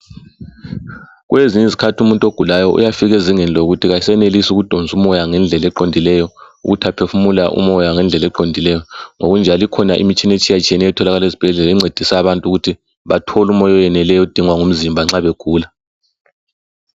Kulezinye izikhathi umuntu ogulayo yafika ezingeni lokuthi akasenelisi ukudonsa umoya ngendlela eqondileyo ukuthi aphefumule umoya ngendlela eqondileyo ngokunjalo ikhona imitshina etshiye tshiyeneyo etholakala ezibhedlela encedisa abantu ukuthi bathole umoya oweneleyo odingwa ngumzimba nxa begula.